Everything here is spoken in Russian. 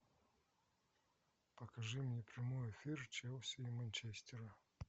покажи мне прямой эфир челси и манчестера